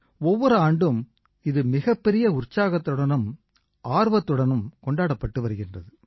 ஒவ்வொரு ஆண்டும் இது மிகப்பெரிய உற்சாகத்துடனும் ஆர்வத்துடனும் கொண்டாடப்பட்டு வருகிறது